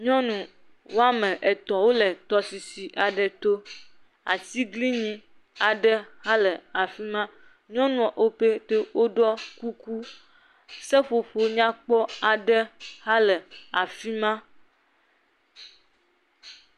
Nyɔnu woame etɔ wole tɔsisi aɖe to. Atiglinyi aɖe hã le afi ma. Nyɔnuwo pete woɖɔ kuku. Seƒoƒo nyakpɔ aɖe hã le afi ma.